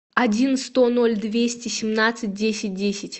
один сто ноль двести семнадцать десять десять